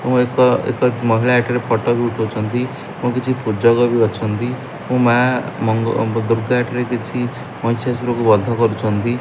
ଏବଂ ଏକ ଏକ ମହିଳା ଏଠାରେ ଫଟୋ ବି ଉଠଉଚନ୍ତି ଏବଂ କିଛି ପୂଜକ ବି ଅଛନ୍ତି ଏବଂ ମା ମଙ୍ଗ ଦୂର୍ଗା ଏଠାରେ କିଛି ମହିଶାଶୁର କୁ ବଧ କରୁଛନ୍ତି।